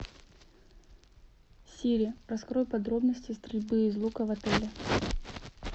сири раскрой подробности стрельбы из лука в отеле